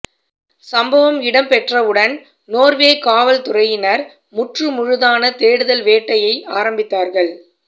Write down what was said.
சம்பவம் இடம்பெற்றவுடன் நோர்வே காவல்துறையினர் முற்றுமுழுதான தேடுதல் வேட்டையை ஆரம்பித்தார்கள்